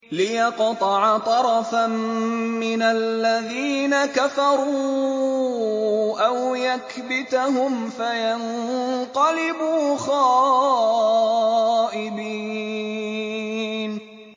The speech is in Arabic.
لِيَقْطَعَ طَرَفًا مِّنَ الَّذِينَ كَفَرُوا أَوْ يَكْبِتَهُمْ فَيَنقَلِبُوا خَائِبِينَ